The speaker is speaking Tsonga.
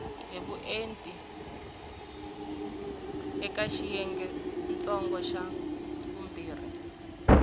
hi vuenti eka xiyengentsongo xa